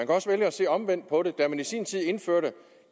også vælge at se omvendt på det da vi i sin tid indførte